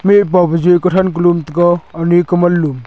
me pa bu ja ka than ka lum taga ani ikman lum.